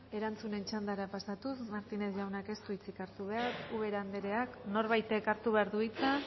erantzunen txandara pasatuz martínez jaunak ez du hitzik hartu behar ubera andrea norbaitek hartu behar du hitza